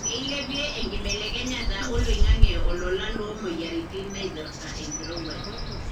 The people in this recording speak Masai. keilepie enkibelekeyata oloingange olola lo moyiaritin naipirta enkirowuaj.